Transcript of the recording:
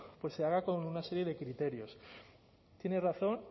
pues se haga con una serie de criterios tiene razón